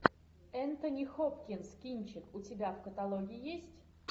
энтони хопкинс кинчик у тебя в каталоге есть